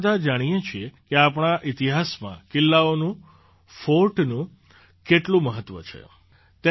આપણે બધાં જાણીએ છીએ કે આપણા ઇતિહાસમાં કિલ્લાઓનું ફૉર્ટનું કેટલું મહત્ત્વ રહ્યું છે